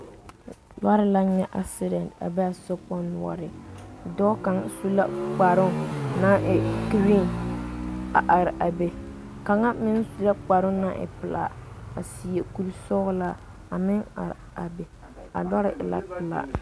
lɔɔre la le a be a sokpoŋ noɔreŋ , dɔɔ kaŋ su la kparoo naŋ e vaare a are a be kaŋa meŋ sue kparoo naŋ naŋ e pɛlaa a seɛ kure sɔglaa a meŋ are a be a lɔr e la pɛlaa.